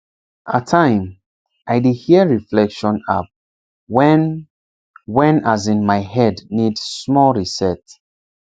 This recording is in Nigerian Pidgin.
at time i dey hear reflection app wen wen as in my head need small reset